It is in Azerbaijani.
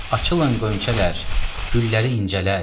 Açılın qönçələr, gülləri incələr.